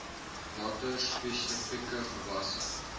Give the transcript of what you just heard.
watter spesifieke gewasse